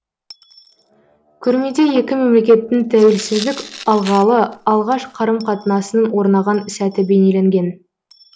көрмеде екі мемлекеттің тәуелсіздік алғалы алғаш қарым қатынасының орнаған сәті бейнеленген